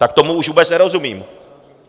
Tak tomu už vůbec nerozumím.